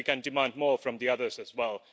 Then we can demand more from the others as well.